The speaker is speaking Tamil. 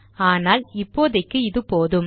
ஆனால் இப்போதைக்கு இது போதும்